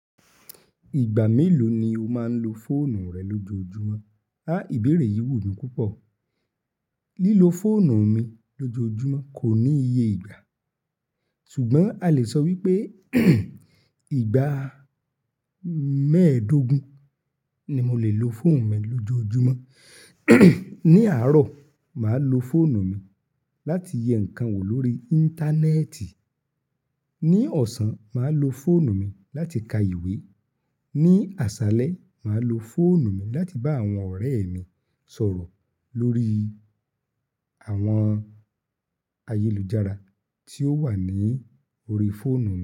Ìgbà mélòó ni o máa ń lo fóònù rẹ lójoojúmọ́? A íbéèrè yìí wù mí púpọ̀. Lílo fóònù mi lójoojúmọ́ kò ní iye ìgbà, ṣùgbọ́n a lè sọ wípé ìgbà mẹ́ẹ̀dógún ni mo lè lo fóònù mi lójoojúmọ́. Ní àárọ̀, màá lo fóònù mi láti yẹ ǹkan wò lórí íńtánẹ́ẹ̀tì. Ní ọ̀sán, màá lo fóònù mi láti ka ìwé. Ní àṣálẹ́, màá lo fóònù mi láti bá àwọn ọ̀rẹ́ mi sọ̀rọ̀ lórí àwọn ayélujára tí ó wà ní orí fóònù mi.